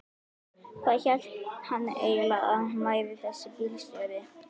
Hvað hélt hann eiginlega að hann væri þessi bílstjóri.